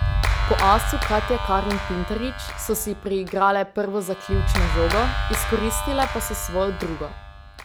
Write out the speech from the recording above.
Po asu Katje Karin Pintarič so si priigrale prvo zaključno žogo, izkoristile pa so svojo drugo.